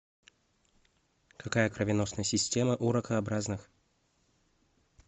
какая кровеносная система у ракообразных